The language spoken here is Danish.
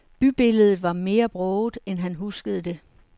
Bybilledet var mere broget, end han huskede det.